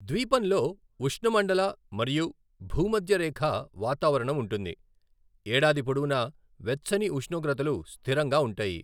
ద్వీపంలో ఉష్ణమండల మరియు భూమధ్యరేఖా వాతావరణం ఉంటుంది, ఏడాది పొడవునా వెచ్చని ఉష్ణోగ్రతలు స్థిరంగా ఉంటాయి.